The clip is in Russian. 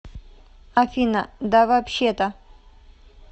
афина да вообще то